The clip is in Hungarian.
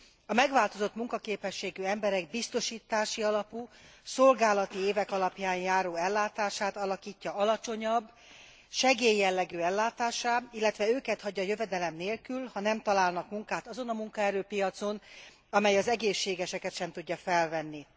A megváltozott munkaképességű emberek biztosítási alapú, szolgálati évek alapján járó ellátását alakítja alacsonyabb, segélyjellegű ellátássá, illetve őket hagyja jövedelem nélkül, ha nem találnak munkát azon a munkaerőpiacon, amely az egészségeseket sem tudja felvenni.